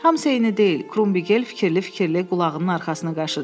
Hamısı eyni deyil, Krummigel fikirli-fikirli qulağının arxasını qaşıdı.